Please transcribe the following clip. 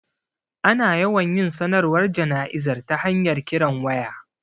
Ana yawan yin sanarwar jana'izar ta hanyar kiran waya